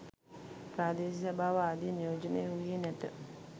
ප්‍රාදේශීය සභාව ආදිය නියෝජනය වූයේ නැත